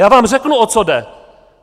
Já vám řeknu, o co jde!